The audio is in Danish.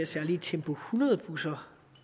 særlige tempo hundrede busser